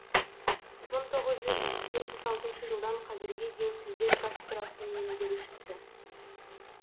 мың тоғыз жүз жетпіс алтыншы жылдан қазірге дейін тілдер кафедрасының меңгерушісі